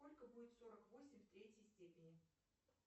сколько будет сорок восемь в третьей степени